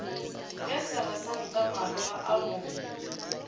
ge seresanta maroga a mo